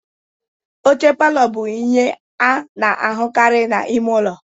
Oche palor bụ ihe a na-ahụkarị na ime ụlọ.